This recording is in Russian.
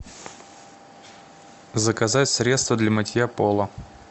заказать средство для мытья пола